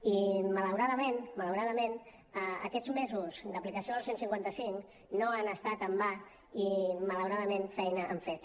i malauradament malauradament aquests mesos d’aplicació del cent i cinquanta cinc no han estat en va i malauradament feina han fet